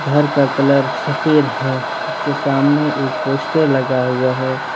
घर का कलर सफेद है उसके सामने एक पोस्टर लगा हुआ है।